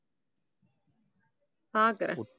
பாக்கறேன்.